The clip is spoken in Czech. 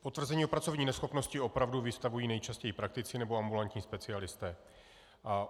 Potvrzení o pracovní neschopnosti opravdu vystavují nejčastěji praktici nebo ambulantní specialisté.